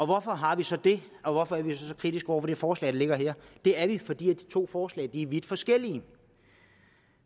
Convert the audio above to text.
hvorfor har vi så det og hvorfor er vi så kritiske over for det forslag der ligger her det er vi fordi de to forslag er vidt forskellige